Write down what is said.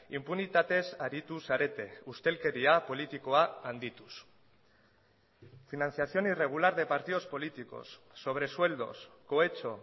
inpunitatez aritu zarete ustelkeria politikoa handituz financiación irregular de partidos políticos sobresueldos cohecho